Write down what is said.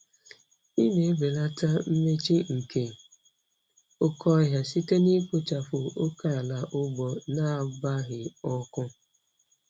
Ị na-ebelata mmechi nke oke ohia site na ikpochapụ oke ala ugbo na-agbaghị ọkụ.